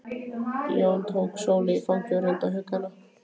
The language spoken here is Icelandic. Jón tók Sólu í fangið og reyndi að hugga hana.